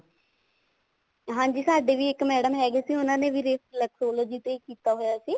ਹਾਂਜੀ ਸਾਡੇ ਵੀ ਇੱਕ madam ਹੈਗੇ ਸੀ ਉਹਨਾ ਨੇ ਵੀ reflexology ਤੇ ਹੀ ਕੀਤਾ ਹੋਇਆ ਸੀ